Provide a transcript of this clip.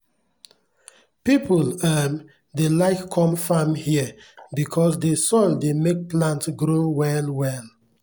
pipu um dey like com farm here because dey soil dey make plant grow well well